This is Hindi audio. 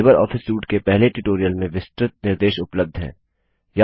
लिबर ऑफिस सूट के पहले ट्यूटोरियल में विस्तृत निर्देश उपलब्ध हैं